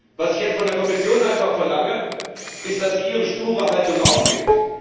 Was ich jetzt von der Kommission einfach verlange, ist, dass sie ihre sture Haltung aufgibt.